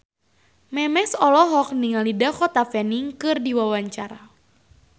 Memes olohok ningali Dakota Fanning keur diwawancara